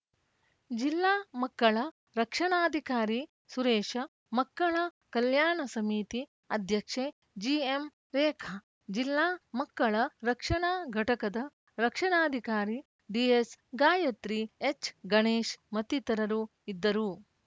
ಜಿಲ್ಲಾ ಮಕ್ಕಳ ರಕ್ಷಣಾಧಿಕಾರಿ ಸುರೇಶ ಮಕ್ಕಳ ಕಲ್ಯಾಣ ಸಮಿತಿ ಅಧ್ಯಕ್ಷೆ ಜಿಎಂ ರೇಖಾ ಜಿಲ್ಲಾ ಮಕ್ಕಳ ರಕ್ಷಣಾ ಘಟಕದ ರಕ್ಷಣಾಧಿಕಾರಿ ಡಿಎಸ್‌ ಗಾಯತ್ರಿ ಎಚ್‌ಗಣೇಶ್‌ ಮತ್ತಿತರರು ಇದ್ದರು